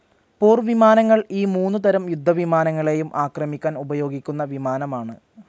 പോർവിമാനങ്ങൾ ഈ മൂന്നു തരം യുദ്ധവിമാനങ്ങളെയും ആക്രമിക്കാൻ ഉപയോഗിക്കുന്ന വിമാനമാണ്.